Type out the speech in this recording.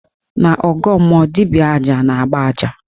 N' ọgọọ mmụọ, dibịa aja na-agba aja